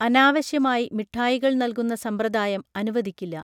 അനാവശ്യമായി മിഠായികൾ നൽകുന്ന സമ്പ്രദായം അനുവദിക്കില്ല